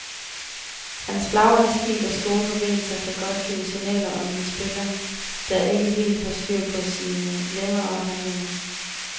Hans flagrende stil og store bevægelser kan godt give signaler om en spiller, der ikke helt har styr på sine lemmer og handlinger.